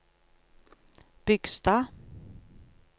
Bygstad